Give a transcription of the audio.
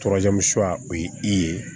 o ye i ye